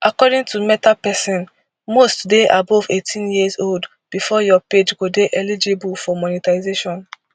according to meta pesin must dey above eighteen years old bifor your page go dey eligible for monetisation